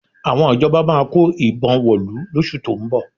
Àwọn ìjọba máa kó ìbọn wọ̀lú lóṣù tó ń bọ̀